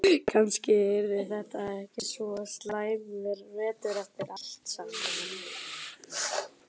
Kannski yrði þetta ekki svo slæmur vetur eftir allt saman.